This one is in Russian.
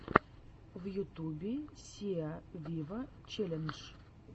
в ютубе сиа виво челлендж